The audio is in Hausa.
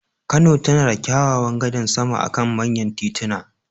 Kano tana da kyawawan gadar sama akan manyan tituna.